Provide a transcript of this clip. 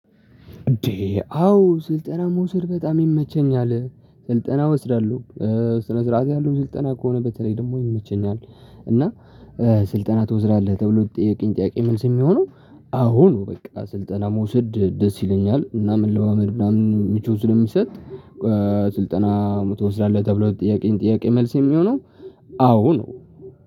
እንዴ አዎ ስልጠና መውሰድ በጣም ይመቸኛል ስልጠና እወስዳለሁ። ስነ ስርዓት ያለው ስልጠና ከሆነ በተለይ ደግሞ ይመቸኛል። እና ስልጠና ትወስራለህ ተብሎ ለተጠየቀኝ ጠያቄ መልስ የሚሆነው አሁን በቃ ስልጠና መውሰድ ደስ ይለኛል እና መለማመድ ምናምን ሚቾት ስለሚሰጥ። ስልጠና መቶ ትወስዳለህ ተብሎ ጥያቄን ጥያቄ መልስ የሚሆነው። አዎ ነው